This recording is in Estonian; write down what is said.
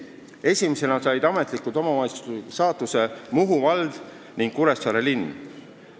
Esimesena said ametlikult omavalitsusliku staatuse Muhu vald ja Kuressaare linn.